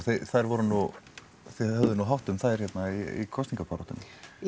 þær voru þið höfðuð nú hátt um þær hérna í kosningabaráttunni